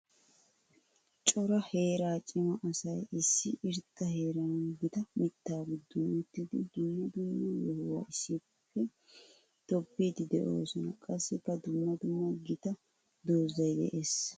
Cora heera cima asay issi irxxa heeran gita mitta giddon uttiddi dummq dumma yohuwa issippe tobbidde de'osonna. Qassikka dumma dumma gita doozay de'ees.